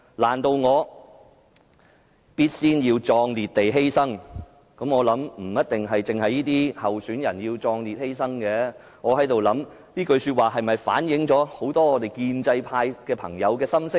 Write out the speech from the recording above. "難道我要必先壯烈地犧牲"，我想不一定只有這些候選人要壯烈犧牲，這句話是否其實反映了很多建制派朋友的心聲呢？